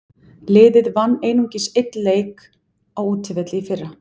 Liðið vann einungis einn leik á útivelli í fyrra.